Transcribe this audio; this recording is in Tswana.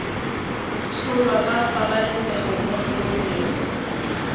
tsholwa ka pabalesego mo tlhokomelong